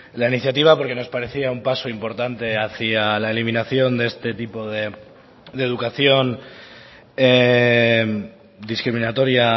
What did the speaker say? la iniciativa porque nos parecía un paso importante hacia la eliminación de este tipo de educación discriminatoria